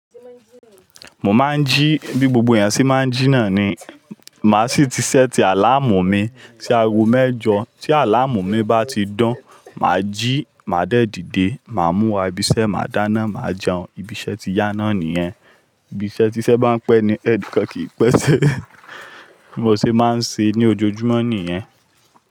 Mo máa ń jí bí gbogbo èèyàn ṣe máa ń jí náà ni. Màá sì ti ṣẹ́ẹ̀tì àláàmù mi sí aago mẹ́jọ. Tí àláàmù mi bá ti dún, màá jí, màá dẹ́ẹ̀ dìde, màá múra ibiṣẹ́, màá dáná, màá jẹun. Ibiṣẹ́ ti yá náà nìyẹn. Ibiṣẹ́ tí iṣẹ́ bá ń pẹ́ ni ẹ̀nikan kì í pẹ́ sẹ́. Bí mo ṣe máa ń ṣe ní ojoojúmọ́ nìyẹn.